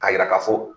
K'a yira ka fɔ